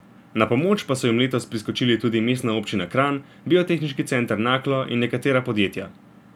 Na pomoč pa so jim letos priskočili tudi Mestna občina Kranj, Biotehniški center Naklo in nekatera podjetja.